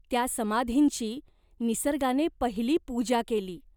त्या समाधींची निसर्गाने पहिली पूजा केली.